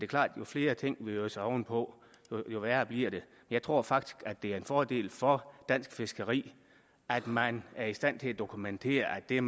klart at jo flere ting vi øser oven på jo værre bliver det jeg tror faktisk det er en fordel for dansk fiskeri at man er i stand til at dokumentere at det